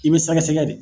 I bɛ sɛgɛsɛgɛ de